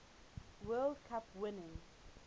world cup winning